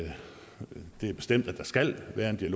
der skal være den her